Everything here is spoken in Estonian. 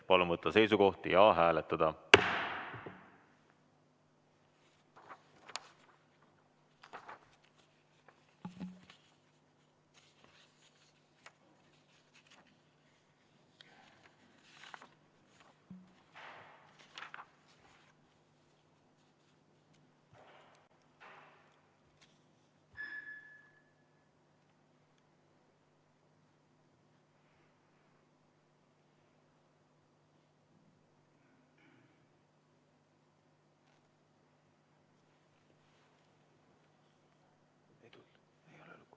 Palun võtta seisukoht ja hääletada!